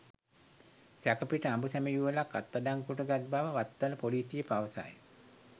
සැකපිට අඹුසැමි යුවලක් අත්අඩංගුවට ගත් බව වත්තල පොලිසිය පවසයි.